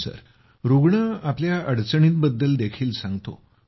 होय रुग्ण आपल्या अडचणींबद्दल देखील सांगतो